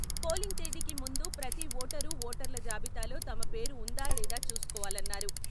Polling తేదీకి ముందు ప్రతి ఓటరు ఓటర్ల జాబితాలో తమ పేరు వుందా లేదా చూసుకోవాలన్నారు.